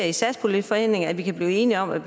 i satspuljeforhandlingerne kan blive enige om at